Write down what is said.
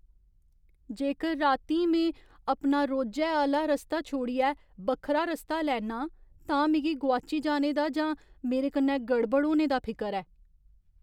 जेकर रातीं में अपना रोजै आह्‌ला रस्ता छोड़ियै बक्खरा रस्ता लैन्ना आं तां मिगी गोआची जाने दा जां मेरे कन्नै गड़बड़ होने दा फिकर ऐ ।